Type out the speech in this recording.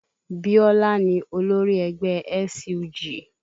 Biola ni olórí ẹgbẹ́ SUG